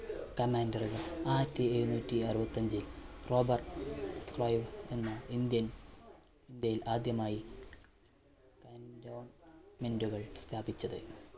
commander കൾ ആയിരത്തി എഴുനൂറ്റി അറുപത്തി അഞ്ചിൽ റോബർട്ട് വൈബ് എന്ന indian, ഇന്ത്യയിൽ ആദ്യമായി cantonment കൾ സ്ഥാപിച്ചത്.